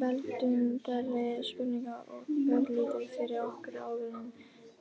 veltum þeirri spurningu örlítið fyrir okkur áður en